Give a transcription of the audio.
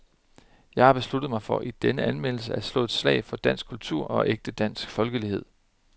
Jeg har besluttet mig for i denne anmeldelse at slå et slag for dansk kultur og ægte dansk folkelighed.